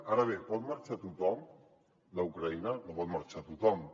ara bé pot marxar tothom d’ucraïna no pot marxar tothom